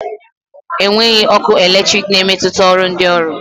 Enweghị ọkụ eletrik na-emetụta ọrụ ndị ọrụ